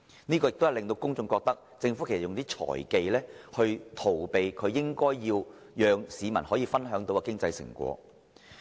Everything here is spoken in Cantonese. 這樣只會令公眾覺得，政府運用"財技"以逃避與市民分享經濟成果。